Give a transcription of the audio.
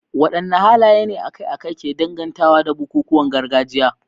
Wadanne halaye ne akai-akai ke dangantawa da bukukuwan gargajiya?